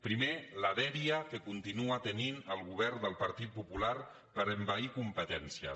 primer la dèria que continua tenint el govern del partit popular per envair competències